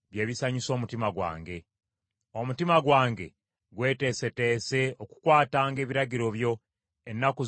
Omutima gwange gweteeseteese okukwatanga ebiragiro byo ennaku zonna ez’obulamu bwange.